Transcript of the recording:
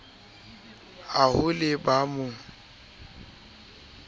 ha ho le ba mo